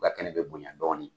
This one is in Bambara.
U ka kɛnɛ be bonya dɔɔni.